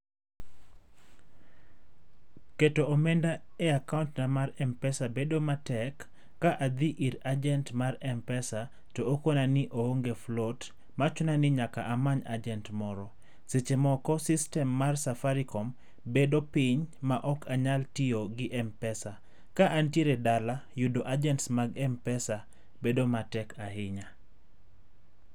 Keto omenda e akaontna mar mpesa bedo matek, ka adhi ir ajent mar mpesa to okona ni oonge float, machuna ni nyaka amany ajent moro. Seche moko sistem mar safaricom bedo piny, maok anyal tiyo gi mpesa. Ka antiere dala, yudo ajents mag mpesa bedo matek ahinya.